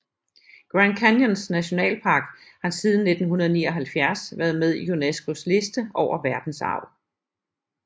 Grand Canyons nationalpark har siden 1979 været med i Unescos liste over verdensarv